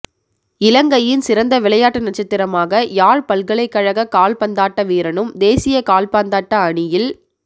இலங்கையின் சிறந்த விளையாட்டு நட்டசத்திரமாக யாழ் பல்கலைக்கழக கால்ப்பந்தாட்ட வீரனும் தேசிய கால்ப்பந்தாட்ட அணியில்